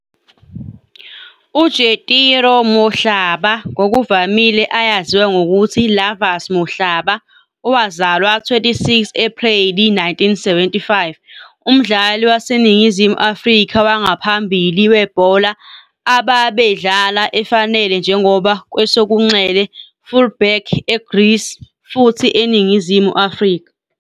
UJetiro Mohlala, ngokuvamile eyaziwa ngokuthi Lovers Mohlala, owazalwa 26 Apreli 1975, umdlali waseNingizimu Afrika wangaphambili webhola ababedlala efanele njengoba kwesokunxele-fullback e Greece futhi eNingizimu Afrika.